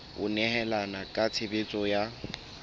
ho nehelana ka tshebeletso ya